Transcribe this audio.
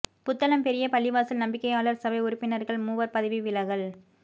புத்தளம் பெரிய பள்ளிவாசல் நம்பிக்கையாளர் சபை உறுப்பினர்கள் மூவர் பதவி விலகல்